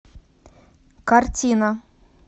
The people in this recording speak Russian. картина